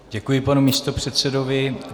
Děkuji panu místopředsedovi.